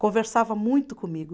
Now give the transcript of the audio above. Conversava muito comigo.